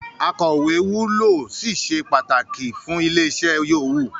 “Akọ̀wẹ́” wúlò ó sì se pàtàkì fún ilé-iṣẹ́ yòówù.